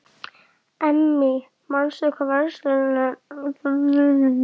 Amy, manstu hvað verslunin hét sem við fórum í á miðvikudaginn?